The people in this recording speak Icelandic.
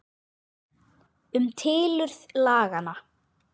Um tilurð laganna